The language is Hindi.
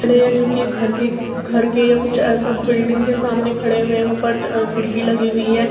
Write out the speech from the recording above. खड़े हैं जोकि घर के घर के या कुछ ऐसा बिल्डिंग के सामने खड़े हुए हैं। ऊपर च अ खिड़की लगी हुई है।